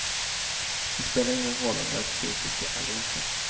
Det spelar ingen roll om vi är kritiska eller inte.